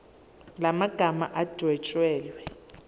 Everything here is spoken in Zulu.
la magama adwetshelwe